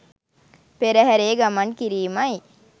පෙරහරේ ගමන් කිරීමයි.